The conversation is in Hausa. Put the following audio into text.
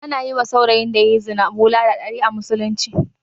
Ana yiwa saurayin da yayi zina bulala ɗari a musulunce